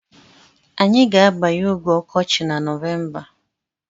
Anyị ga-abanye oge ọkọchị na Nọvemba.